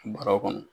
Bɔrɛ kɔnɔ